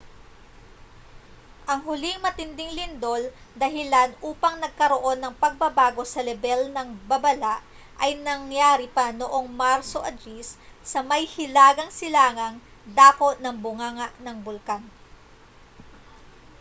ang huling matinding lindol dahilan upang nagkaroon ng pagbabago sa lebel ng babala ay nangyari pa noong marso 10 sa may hilagang silangang dako ng bunganga ng bulkan